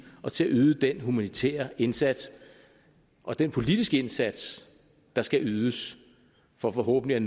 og til at yde den humanitære indsats og den politiske indsats der skal ydes for forhåbentlig